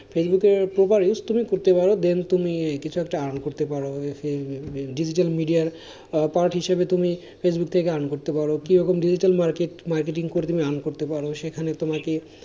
ফেসবুকের তুমি করতে পারো then তুমি কিছু একটা earn করতে পারো digital media র আহ part হিসেবে তুমি ফেসবুক থেকে earn করতে পারো কিরকম digital market marketing করে তুমি earn করতে পারো সেখানে তোমাকে,